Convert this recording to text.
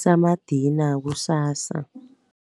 samadina kusasa.